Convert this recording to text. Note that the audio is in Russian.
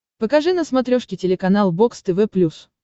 покажи на смотрешке телеканал бокс тв плюс